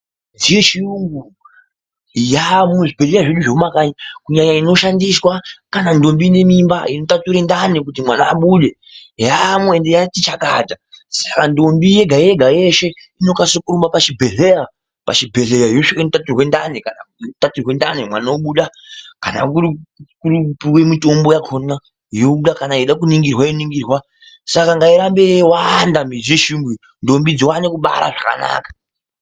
Midziyo yechiyungu yaamwo muzvibhehlera zvedu zvemumakanyi kunyanya inoshandiswa kana ndombi inemimba inotature ndani kuti mwana abude ,yaamwo ende yati chakata saka ndombi yegayega yeshe inokase kurumbe pachibhehleya ,pachibhehleya yosvika inotaturwe ndani kana kutaturwe ndani mwana obuda kana kuri kupuwe mitombo yakona yobuda kana yeida kuningirwa yoningirwa saka ngairambe yeiwanda midziyo yechiyungu iyi ndombi dziwane kubara zvakanaka.